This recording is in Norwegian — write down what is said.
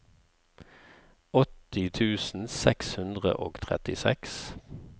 åtti tusen seks hundre og trettiseks